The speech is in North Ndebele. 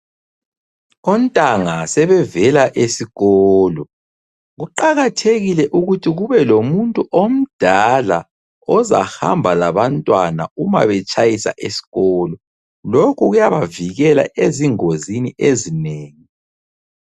Ontanga sebevela esikolo. Kuqakathekile ukuthi kube lomuntu omdala ozahamba labantwana uma betshayisa eskolo. Lokhu kuyabavikela ezingozini ezinengi.